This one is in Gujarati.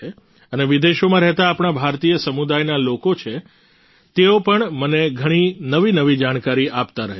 અને વિદેશોમાં રહેતા આપણા ભારતીય સમુદાયના લોકો છે તેઓ પણ મને ઘણી નવી નવી જાણકારી આપતા રહે છે